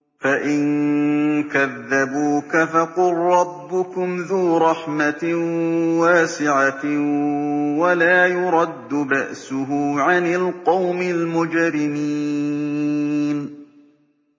فَإِن كَذَّبُوكَ فَقُل رَّبُّكُمْ ذُو رَحْمَةٍ وَاسِعَةٍ وَلَا يُرَدُّ بَأْسُهُ عَنِ الْقَوْمِ الْمُجْرِمِينَ